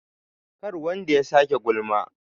kar wanda ya sake gulma?